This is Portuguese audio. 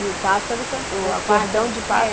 E o pássaro, o cordão de pássaro